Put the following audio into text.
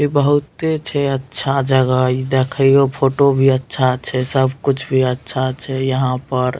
इ बहुते छै अच्छा जगह इ देखियो फोटो भी अच्छा छै सब कुछ भी अच्छा छै यहाँ पर।